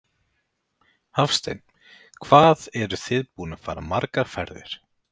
Hafsteinn: Hvað eruð þið búin að fara margar ferðir?